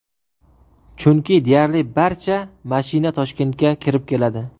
Chunki deyarli barcha mashina Toshkentga kirib keladi.